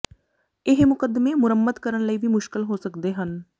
ਇਹ ਮੁਕੱਦਮੇ ਮੁਰੰਮਤ ਕਰਨ ਲਈ ਵੀ ਮੁਸ਼ਕਲ ਹੋ ਸਕਦੇ ਹਨ